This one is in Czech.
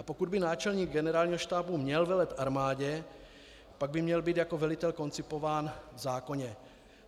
A pokud by náčelník Generálního štábu měl velet armádě, pak by měl být jako velitel koncipován v zákoně.